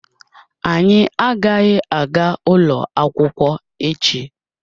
Anyị agaghị aga ụlọ akwụkwọ echi